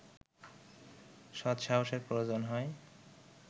সৎসাহসের প্রয়োজন হয়